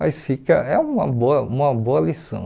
Mas fica é uma boa uma boa lição.